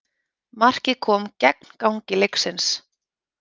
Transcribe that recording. Markið kom gegn gangi leiksins